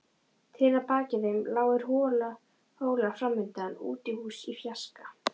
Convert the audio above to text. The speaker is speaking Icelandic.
Trén að baki þeim, lágir hólar framundan, útihús í fjarska.